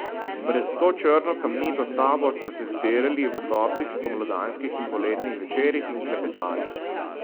Pred to črno kamnito stavbo smo se zbirali v toplih spomladanskih in poletnih večerih in klepetali.